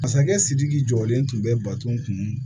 Masakɛ sidiki jɔlen tun bɛ bato kun